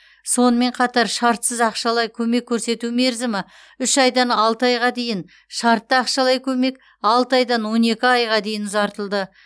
сонымен қатар шартсыз ақшалай көмек көрсету мерзімі үш айдан алты айға дейін шартты ақшалай көмек алты айдан он екі айға дейін ұзартылды